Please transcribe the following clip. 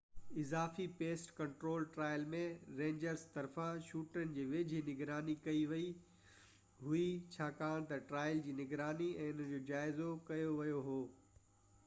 اضافي pest control trial ۾ rangers طرفان شوٽرن جي ويجهي نگراني ڪئي ويئي هئي ڇاڪاڻ تہ ٽرائل جي نگراني ۽ ان جو جائزو ڪيو ويو هو